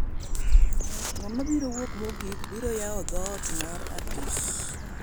ng'ama biro wuok mogik biro yawo dhoot mar apis